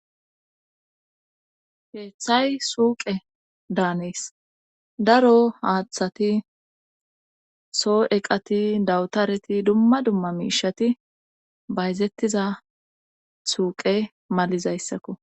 Heeththay suuqe daanis daro haaththati soo eqati dawutareti dumma dumma miishati bayzettiza suuqe matidees.